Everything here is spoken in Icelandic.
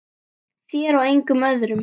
Þér og engum öðrum.